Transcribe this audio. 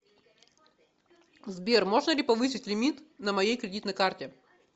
сбер можно ли повысить лимит на моей кредитной карте